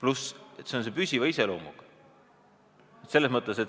Lisaks on see muudatus püsiva iseloomuga.